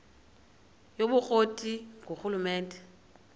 yobukro ti ngurhulumente